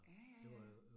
Ja ja ja